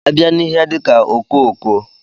A bịa n'ihe dika ọkokoo.